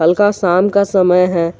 हल्का शाम का समय है।